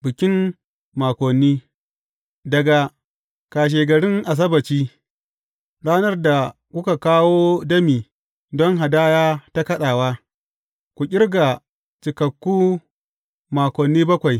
Bikin Makoni Daga kashegarin Asabbaci, ranar da kuka kawo dami don hadaya ta kaɗawa, ku ƙirga cikakku makoni bakwai.